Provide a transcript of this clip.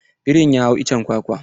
Birin ya hau iccen kwakwa.